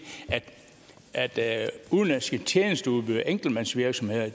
at udenlandske tjenesteudbydere og enkeltmandsvirksomheder